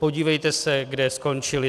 Podívejte se, kde skončili.